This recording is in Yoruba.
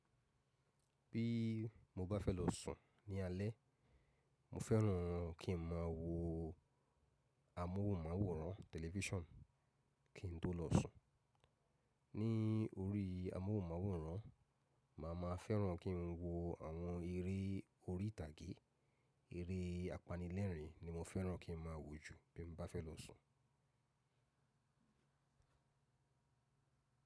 Bí mo bá fẹ́ lọ sùn ní alẹ́, mo fẹ́ràn kí n máa wo amóhùnmáwòrán tẹlifíṣàn kí n tó lọ sùn. Ní orí amóhùnmáwòrán, màá máa fẹ́ràn kí n wo àwọn eré orí ìtàgé, eré apanilẹ́rìn ni mo fẹ́ràn kí n máa wò jù bí n bá fẹ́ lọ sùn.